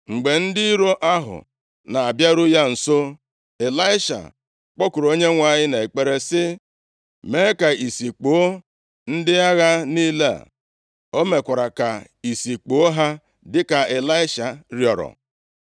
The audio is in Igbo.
Mgbe ndị iro ahụ na-abịaru ya nso, Ịlaisha kpọkuru Onyenwe anyị nʼekpere sị, “Mee ka ìsì kpuo ndị agha niile.” O mekwara ka ìsì kpuo ha, dịka Ịlaisha rịọọrọ.